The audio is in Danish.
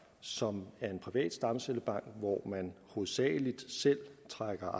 som er en privat stamcellebank hvor man hovedsagelig selv trækker